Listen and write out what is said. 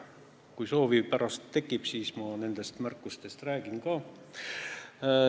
Kui pärast tekib soovi, siis ma nendest märkustest räägin ka.